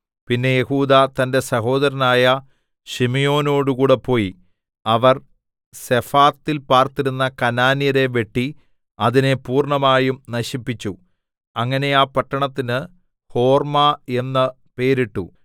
പിന്നെ യെഹൂദാ തന്റെ സഹോദരനായ ശിമെയോനോടുകൂടെ പോയി അവർ സെഫാത്തിൽ പാർത്തിരുന്ന കനാന്യരെ വെട്ടി അതിനെ പൂർണ്ണമായും നശിപ്പിച്ചു അങ്ങനെ ആ പട്ടണത്തിന് ഹോർമ്മ എന്ന് പേരിട്ടു